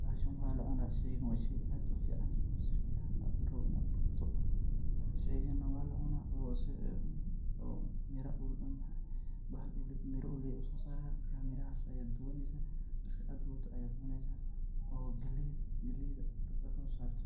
bahashan weaxaa la cunaa ,sheygan waa shey aad u fican oo si fican la rabo inad u dhowrto, sheygan na waa la cunaa oo si en mira uu leh uso saraa marka mirahas ayad dubaneysa, markad dubato ayad cuneysa oo galeyda galeyda ad kaaso sarto,